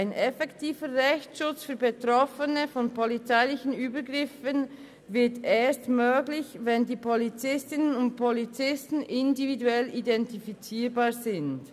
Ein effektiver Rechtsschutz für von polizeilichen Übergriffen Betroffene wird erst möglich, wenn die Polizistinnen und Polizisten individuell identifizierbar sind.